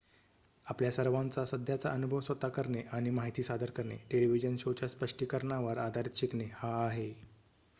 आपल्या सर्वांचा सध्याचा अनुभव स्वतः करणे आणि माहिती सादर करणे टेलिव्हिजन शोच्या स्पष्टीकरणावर आधारित शिकणे हा आहे